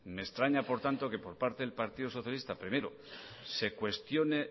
me extraña por tanto que por parte del partido socialista primero se cuestione